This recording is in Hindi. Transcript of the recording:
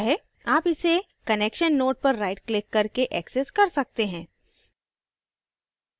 आप इसे connection node पर right क्लिक करके access कर सकते हैं